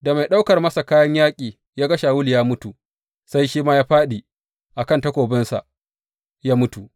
Da mai ɗaukar masa kayan yaƙi ya ga Shawulu ya mutu, sai shi ma ya fāɗi a kan takobinsa ya mutu.